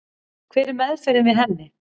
Hver er meðferðin við henni?